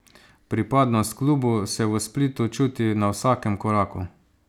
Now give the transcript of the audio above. Pripadnost klubu se v Splitu čuti na vsakem koraku.